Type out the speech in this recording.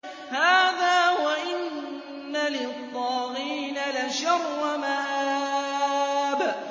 هَٰذَا ۚ وَإِنَّ لِلطَّاغِينَ لَشَرَّ مَآبٍ